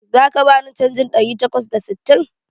Zaka bani canjin ɗari takwas da sittin?